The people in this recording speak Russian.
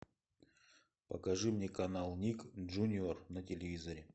покажи мне канал ник джуниор на телевизоре